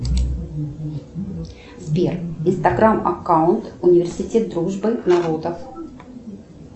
сбер инстаграм аккаунт университет дружбы народов